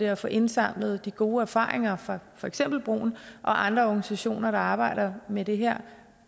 at få indsamlet de gode erfaringer fra for eksempel broen og andre organisationer der arbejder med det her